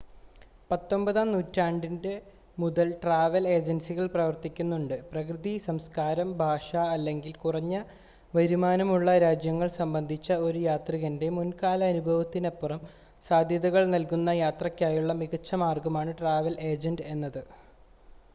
പത്തൊൻപതാം നൂറ്റാണ്ട് മുതൽ ട്രാവൽ ഏജൻസികൾ പ്രവർത്തിക്കുന്നുണ്ട് പ്രകൃതി സംസ്കാരം ഭാഷ അല്ലെങ്കിൽ കുറഞ്ഞ വരുമാനമുള്ള രാജ്യങ്ങൾ സംബന്ധിച്ച ഒരു യാത്രികൻ്റെ മുൻകാല അനുഭവത്തിനപ്പുറം സാധ്യതകൾ നൽകുന്ന യാത്രയ്ക്കായുള്ള മികച്ച മാർഗമാണ് ട്രാവൽ ഏജൻ്റ് എന്നത്